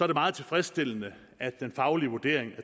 det meget tilfredsstillende at den faglige vurdering af